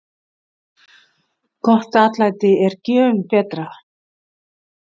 Gott atlæti er gjöfum betra.